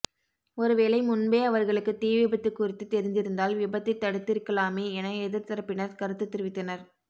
ஒருவேளை முன்பே அவர்களுக்கு தீ விபத்து குறித்து தெரிந்திருந்தால் விபத்தை தடுத்திருக்கலாமே என எதிர்தரப்பினர் கருத்து தெவித்தனர்